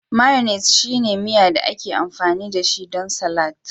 Mayonnaise shine miya da ake amfani dashi don salatin